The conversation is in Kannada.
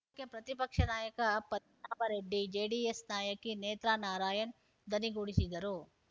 ಇದಕ್ಕೆ ಪ್ರತಿಪಕ್ಷ ನಾಯಕ ಪದ್ಮನಾಭರೆಡ್ಡಿ ಜೆಡಿಎಸ್‌ ನಾಯಕಿ ನೇತ್ರಾ ನಾರಾಯಣ್‌ ಧನಿಗೂಡಿಸಿದರು